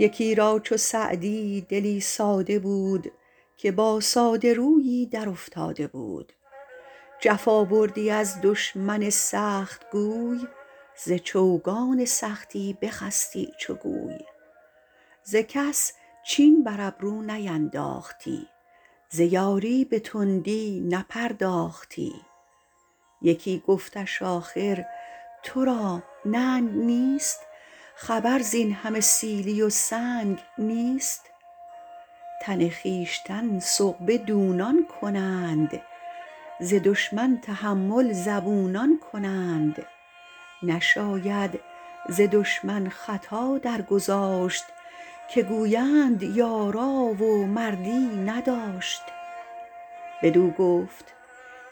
یکی را چو سعدی دلی ساده بود که با ساده رویی در افتاده بود جفا بردی از دشمن سختگوی ز چوگان سختی بخستی چو گوی ز کس چین بر ابرو نینداختی ز یاری به تندی نپرداختی یکی گفتش آخر تو را ننگ نیست خبر زین همه سیلی و سنگ نیست تن خویشتن سغبه دونان کنند ز دشمن تحمل زبونان کنند نشاید ز دشمن خطا درگذاشت که گویند یارا و مردی نداشت بدو گفت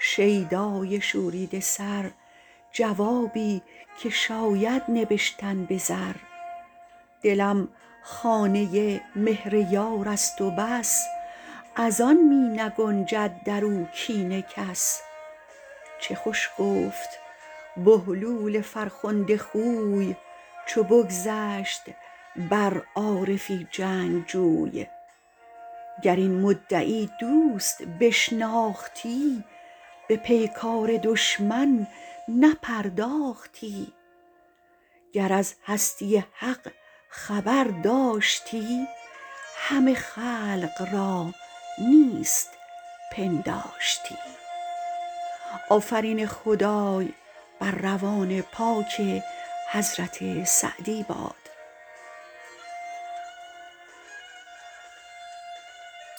شیدای شوریده سر جوابی که شاید نبشتن به زر دلم خانه ی مهر یار است و بس از آن می نگنجد در او کین کس چه خوش گفت بهلول فرخنده خوی چو بگذشت بر عارفی جنگجوی گر این مدعی دوست بشناختی به پیکار دشمن نپرداختی گر از هستی حق خبر داشتی همه خلق را نیست پنداشتی